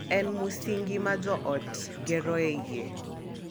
En musingi ma jo ot geroe yie,